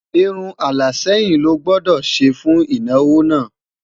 irún ala sẹyìn ló gbódò ṣé fún ìnáwó nà